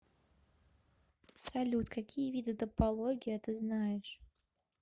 салют какие виды топология ты знаешь